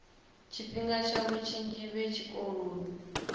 tshifhinga tshavho tshinzhi vhe tshikoloni